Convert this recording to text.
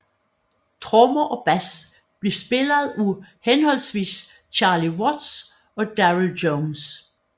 Trommer og bass blev spillet af henholdsvis Charlie Watts og Darryl Jones